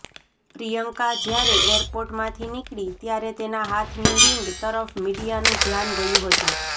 પ્રિયંકા જ્યારે એરપોર્ટમાંથી નીકળી ત્યારે તેના હાથની રિંગ તરફ મીડિયાનું ધ્યાન ગયું હતું